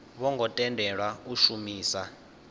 vho ngo tendelwa u shumisa